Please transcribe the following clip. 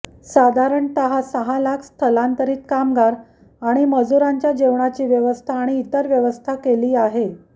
साधारणतः सहा लाख स्थलांतरित कामगार आणि मजुरांच्या जेवणाची व्यवस्था आणि इतर व्यवस्था केली आहे